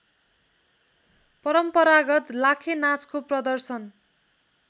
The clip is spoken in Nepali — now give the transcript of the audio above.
परम्परागत लाखेनाचको प्रदर्शन